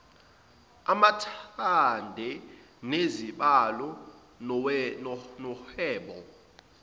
amathenda nezibalo zohwebo